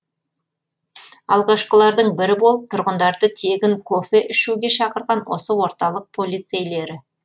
алғашқылардың бірі болып тұрғындарды тегін кофе ішуге шақырған осы орталық полицейлері